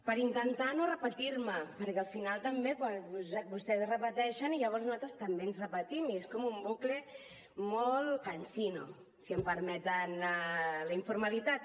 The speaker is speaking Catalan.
per intentar no repetir me perquè al final també vostès es repeteixen i llavors nosaltres també ens repetim i és com un bucle molt cansino si em permeten la informalitat